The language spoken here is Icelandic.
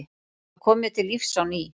Það kom mér til lífs á ný.